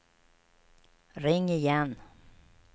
ring igen